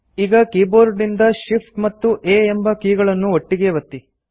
ಈಗ ಕೀಬೋರ್ಡ್ ನಿಂದ Shift ಮತ್ತು A ಎಂಬ ಕೀಗಳನ್ನು ಒಟ್ಟಿಗೇ ಒತ್ತಿ